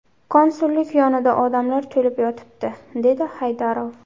Konsullik yonida odam to‘lib yotibdi”, dedi Haydarov.